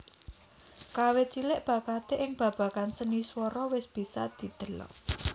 Kawit cilik bakaté ing babagan seni swara wis bisa didelok